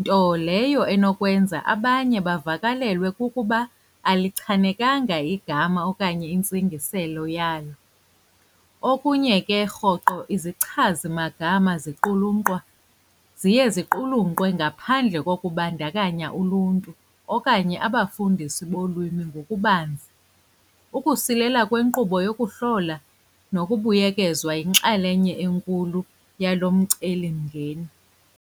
nto leyo enokwenza abanye bavakalelwe kukuba alichanekanga igama okanye intsingiselo yalo. Okunye ke rhoqo izichazi magama ziqulunqwa, ziye ziqulunqwe ngaphandle kokubandakanya uluntu okanye abafundisi bolwimi ngokubanzi. Ukusilela kwenkqubo yokuhlola nokubuyekezwa yinxalenye enkulu yalo mcelimngeni.